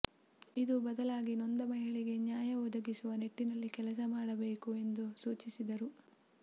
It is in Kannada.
ಇದು ಬದಲಾಗಿ ನೊಂದ ಮಹಿಳೆಗೆ ನ್ಯಾಯ ಒದಗಿಸುವ ನಿಟ್ಟಿನಲ್ಲಿ ಕೆಲಸ ಮಾಡಬೇಕು ಎಂದು ಸೂಚಿಸಿದರು